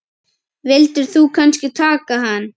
Vildir þú kannski taka hann?